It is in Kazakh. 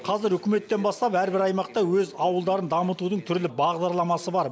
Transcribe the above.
қазір үкіметтен бастап әрбір аймақта өз ауылдарын дамытудың түрлі бағдарламасы бар